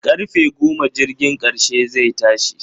Karfe goma jirgin karshe zai tashi